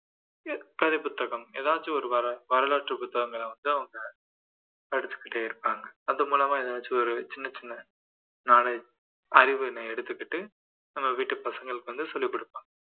கதை புத்தகம் எதாச்சும் ஒரு வரலாற்று புத்தகங்களை வந்து அவங்க படிச்சுகிட்டே இருப்பாங்க அது மூலமா எதாச்சும் ஒரு சின்ன சின்ன knowledge அறிவுன்னு எடுத்துகிட்டு நம்ம வீட்டு பசங்களுக்கு வந்து சொல்லிக்கொடுப்பாங்க